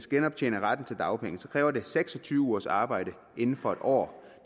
genoptjene retten til dagpenge kræver det seks og tyve ugers arbejde inden for en år